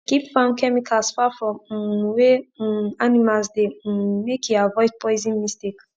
keep farm chemicals far from um wey um animals de um make e avoid poison mistake